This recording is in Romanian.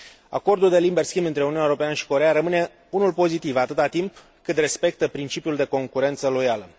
Acordul de liber schimb între Uniunea Europeană și Coreea rămâne unul pozitiv, atâta timp cât respectă principiul de concurență loială.